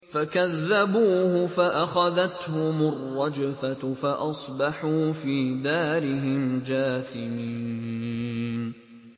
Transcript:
فَكَذَّبُوهُ فَأَخَذَتْهُمُ الرَّجْفَةُ فَأَصْبَحُوا فِي دَارِهِمْ جَاثِمِينَ